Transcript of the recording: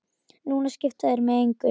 Núna skipta þeir mig engu.